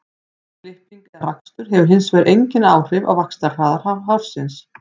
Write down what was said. klipping eða rakstur hefur hins vegar engin áhrif á vaxtarhraða hársins